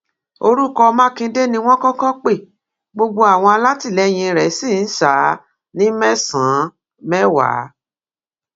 orúkọ mákindé ni wọn kọkọ pe gbogbo àwọn alátìlẹyìn rẹ ṣì ń ṣá a ní mẹsànán mẹwàá